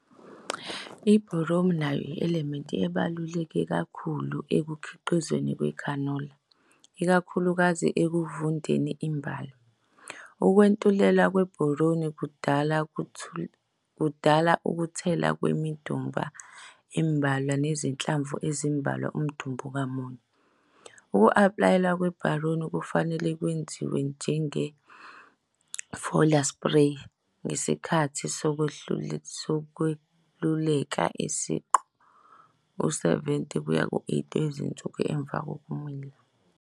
I-Boron nayo yi-elelemnti ebaluleke kakhulu ekukhiqizweni kwe-khanola, ikakhulukazi ekuvundeni imbali. Ukwentuleka kwe-boron kudala kudala ukuthela kwemidumba embalwa nezinhlamvu ezimbalwa umdumba ngamunye. Uku-aplaywa kwe-boron kufanele kwenziwe njenge-foliar spray ngesikhathi sokweluleka kwesiqu, u-70 kuya ku-80 wezinsuku emuva kokumila.